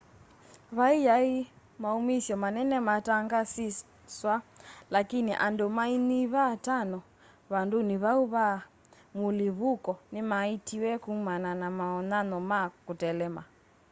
va yaĩ maũũmĩsya manene maatangaswa laĩkĩnĩ andũ maĩnyĩva atano vandũnĩ vaũ va mũlĩvũko nĩmaĩĩtĩwe kũman na mawonyanyo ma kũtelema